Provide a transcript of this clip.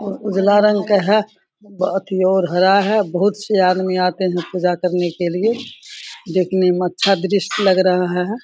और उजला रंग के है बहुत ही और हरा है बहुत से आदमी आते है पूजा करने के लिए देखने में अच्छा दृश्य लग रहा है ।